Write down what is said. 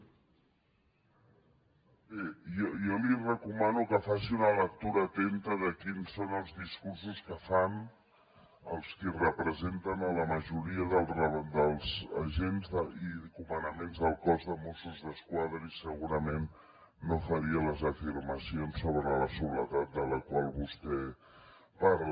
bé jo li recomano que faci una lectura atenta de quins són els discursos que fan els qui representen la majoria dels agents i comandaments del cos de mossos d’esquadra i segurament no faria les afirmacions sobre la soledat de la qual vostè parla